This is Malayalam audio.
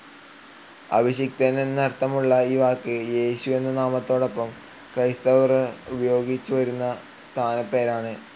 അഭിഷിക്തൻ എന്നർത്ഥമുള്ള ഈ വാക്ക് യേശു എന്ന നാമത്തിനൊപ്പം ക്രൈസ്തവർ ഉപയോഗിച്ചു വരുന്ന സ്ഥാനപ്പേരാണ്.